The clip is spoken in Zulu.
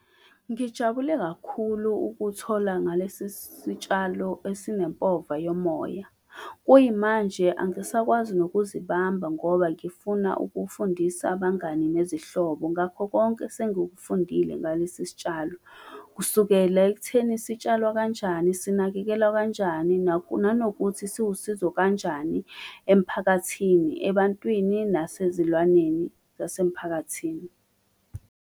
Ngijabule kakhulu ukuthola ngalesi sitshalo esinempova yomoya. Kuyimanje angisakwazi nokuzibamba ngoba ngifuna ukufundisa abangani nezihlobo, ngakho konke esengikufundile ngalesi sitshalo. Kusukela ekutheni, sitshalwa kanjani, sinakekelwa kanjani nanokuthi, siwusizo kanjani emphakathini, ebantwini nasezilwaneni zasemiphakathini.